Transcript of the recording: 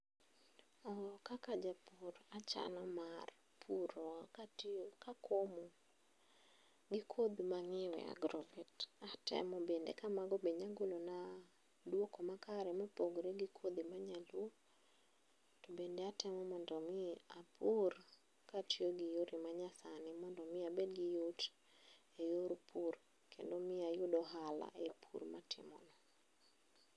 Oh kaka japur, achano mar puro katiyo kakomo gi kodhi mang'iewo e agrovet, atemo bende kamago bende nyalo golona duoko makare mopogore gi kodhi ma nyaluo, tobende atemo mondo mi apur katiyo gi yore manyasani mondo mi abed giyot eyor pur kendo ayud ohala e pur mapuroni.